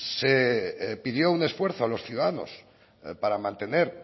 se pidió un esfuerzo a los ciudadanos para mantener